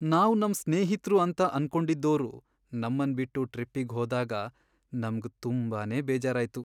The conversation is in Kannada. ನಾವ್ ನಮ್ ಸ್ನೇಹಿತ್ರು ಅಂತ ಅನ್ಕೊಂಡಿದ್ದೋರು ನಮ್ಮನ್ ಬಿಟ್ಟು ಟ್ರಿಪ್ಪಿಗ್ ಹೋದಾಗ ನಮ್ಗ್ ತುಂಬಾನೇ ಬೇಜಾರಾಯ್ತು.